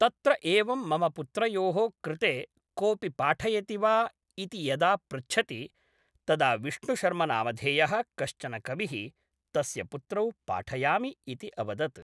तत्र एवम् मम पुत्रयोः कृते कोपि पाठयति वा इति यदा पृच्छति तदा विष्णुशर्मनामधेय: कश्चन कविः तस्य पुत्रौ पाठयामि इति अवदत्